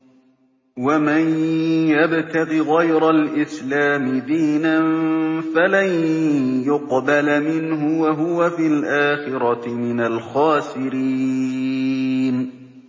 وَمَن يَبْتَغِ غَيْرَ الْإِسْلَامِ دِينًا فَلَن يُقْبَلَ مِنْهُ وَهُوَ فِي الْآخِرَةِ مِنَ الْخَاسِرِينَ